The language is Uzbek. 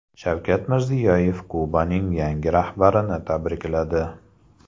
Shavkat Mirziyoyev Kubaning yangi rahbarini tabrikladi.